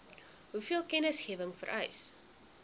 hoeveel kennisgewing vereis